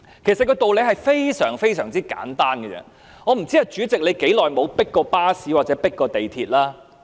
其實道理非常簡單，我不知道主席有多久沒有"迫巴士"或"迫地鐵"。